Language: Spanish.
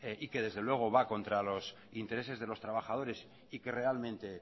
y que desde luego va contra los intereses de los trabajadores y que realmente